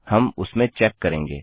हम उस में चेक करेंगे